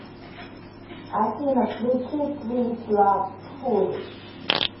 афина включи твис лав фулиш